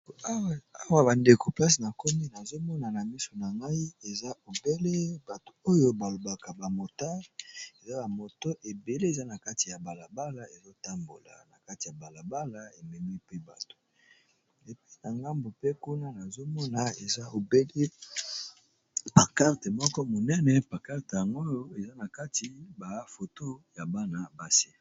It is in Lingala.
Awa bandeko mplase na komi nazomona na miso na ngai eza obele bato oyo balobaka bamoto eza amoto ebele eza na kati ya balabala ezotambola na kati ya balabala ememi pe bato epna ngambu mpe kuna nazomona eza obele a karte moko monene bakarte yangoyo eza na kati bafoto ya bana base.